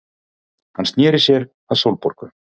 Hann sneri sér að Sólborgu.